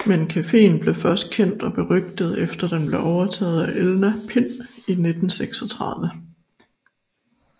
Men cafeen blev først kendt og berygtet efter den blev overtaget af Elna Pind i 1936